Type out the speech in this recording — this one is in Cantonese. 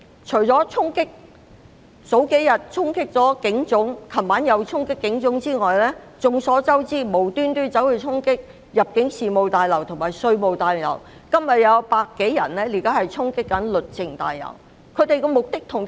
除了數天前和昨晚衝擊警察總部外，眾所周知，他們無緣無故衝擊入境事務大樓和稅務大樓，而此刻又有百多人衝擊律政中心。